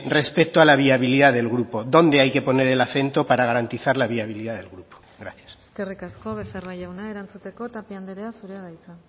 respecto a la viabilidad del grupo dónde hay que poner el acento para garantizar la viabilidad del grupo gracias eskerrik asko becerra jauna erantzuteko tapia andrea zurea da hitza